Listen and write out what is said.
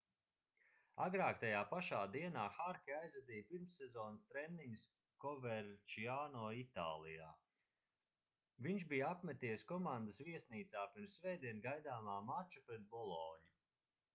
agrāk tajā pašā dienā harke aizvadīja pirmssezonas treniņus koverčiano itālijā viņš bija apmeties komandas viesnīcā pirms svētdien gaidāmā mača pret boloņu